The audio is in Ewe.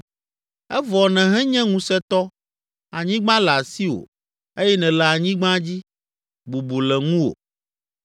evɔ nèhenye ŋusẽtɔ, anyigba le asiwò eye nèle anyigba dzi, bubu le ŋuwò.